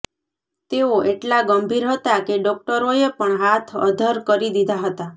તેઓ એટલા ગંભીર હતા કે ડોક્ટરોએ પણ હાથ અધ્ધર કરી દીધા હતા